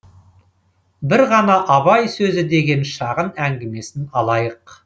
бір ғана абай сөзі деген шағын әңгімесін алайық